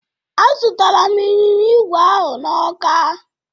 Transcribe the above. Azụtaram ịnyịnya igwe ahụ na Ọka.